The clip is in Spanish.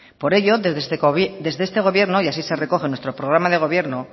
por ello desde este gobierno y así se recoge en nuestro programa de gobierno